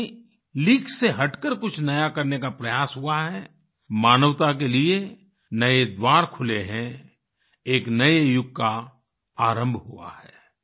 जब भी कहीं लीग से हटकर कुछ नया करने का प्रयास हुआ है मानवता के लिए नए द्वार खुले हैं एक नए युग का आरंभ हुआ है